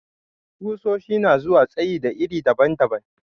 Ƙusoshi na zuwa tsayi da iri daban-daban.